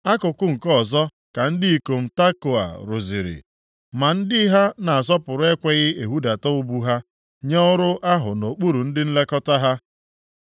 Akụkụ nke ọzọ ka ndị ikom Tekoa rụziri, ma ndị ha a na-asọpụrụ ekweghị ehudata ubu ha nye ọrụ ahụ nʼokpuru ndị nlekọta ha.